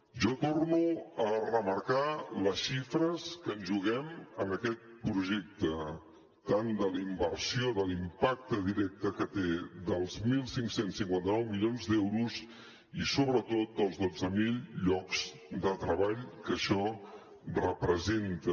jo torno a remarcar les xifres que ens juguem en aquest projecte tant de la inversió de l’impacte directe que té dels quinze cinquanta nou milions d’euros i sobretot dels dotze mil llocs de treball que això representa